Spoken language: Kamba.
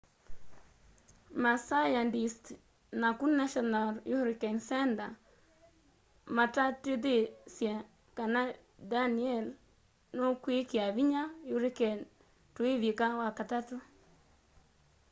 masayandisti naku national hurricane center matatithisye kana danielle nukwikia vinya hurricane tuivika wakatatũ